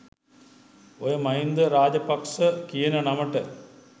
ඔය මහින්ද රාජපක්ස කියන නමට